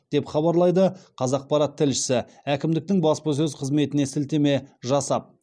деп хабарлайды қазақпарат тілшісі әкімдіктің баспасөз қызметіне сілтеме жасап